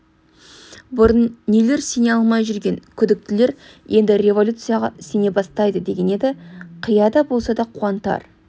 бұрын нелер сене алмай жүрген күдіктілер енді революцияға сене бастайды деген еді қияда болса да қуантар